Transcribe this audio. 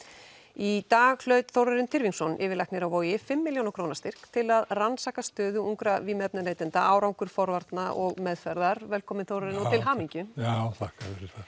í dag hlaut Þórarinn Tyrfingsson yfirlæknir á Vogi fimm milljóna króna styrk til að rannsaka stöðu ungra vímuefnaneytenda árangur forvarna og meðferðar velkominn Þórarinn og til hamingju já þakka